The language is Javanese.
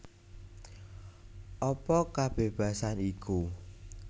Apa kabébasan iku